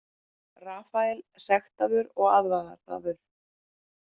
Rafael sektaður og aðvaraður